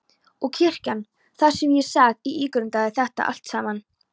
Og kirkjan, þar sat ég og ígrundaði þetta allt saman.